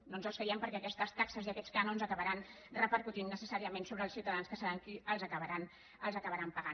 no ens els creiem perquè aquestes taxes i aquests cànons acabaran repercutint necessàriament sobre els ciutadans que seran els qui els acabaran pagant